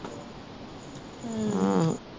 ਹੂੰ